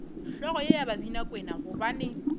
hlogo ye ya babinakwena gobane